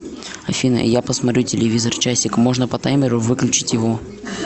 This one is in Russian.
афина я посмотрю телевизор часик можно по таймеру выключить его